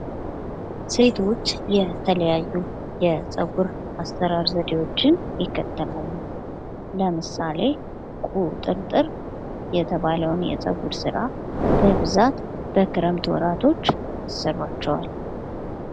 ሴቶች የተለያዩ የፀጉር አሰራር ዘዴዎችን ይከተላሉ ለምሳሌ ቁጥርጥር የተባለውን የፀጉር ስራ በብዛት በክረምት ወራቶች ይሰሯቸዋል ::